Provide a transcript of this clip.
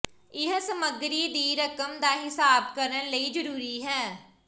ਇਹ ਸਮੱਗਰੀ ਦੀ ਰਕਮ ਦਾ ਹਿਸਾਬ ਕਰਨ ਲਈ ਜ਼ਰੂਰੀ ਹੈ